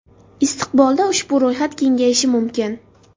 Istiqbolda ushbu ro‘yxat kengayishi mumkin.